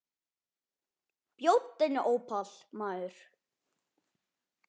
Bjóddu henni ópal, maður.